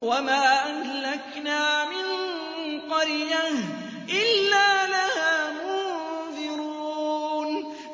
وَمَا أَهْلَكْنَا مِن قَرْيَةٍ إِلَّا لَهَا مُنذِرُونَ